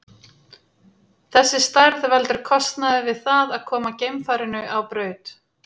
Þessi stærð veldur kostnaði við það að koma geimfarinu á braut.